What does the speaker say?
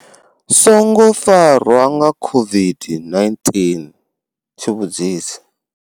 Songo farwa nga songo farwa nga COVID-19 tshivhudzisi.